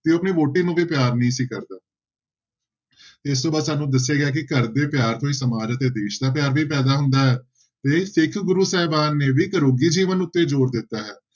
ਤੇ ਉਹ ਆਪਣੀ ਵਹੁਟੀ ਨੂੰ ਵੀ ਪਿਆਰ ਨਹੀਂ ਸੀ ਕਰਦਾ ਇਸ ਤੋਂ ਬਾਅਦ ਸਾਨੂੰ ਦੱਸਿਆ ਗਿਆ ਕਿ ਘਰਦੇ ਪਿਆਰ ਤੋਂ ਹੀ ਸਮਾਜ ਅਤੇ ਦੇਸ ਦਾ ਪਿਆਰ ਵੀ ਪੈਦਾ ਹੁੰਦਾ ਹੈ ਤੇ ਸਿੱਖ ਗੁਰੂ ਸਹਿਬਾਨ ਨੇ ਵੀ ਘਰੋਗੀ ਜੀਵਨ ਉੱਤੇ ਜ਼ੋਰ ਦਿੱਤਾ ਹੈ।